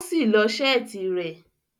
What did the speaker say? O si lọ́ seeti rẹ